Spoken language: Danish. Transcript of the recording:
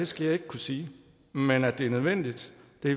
skal jeg ikke kunne sige men at det er nødvendigt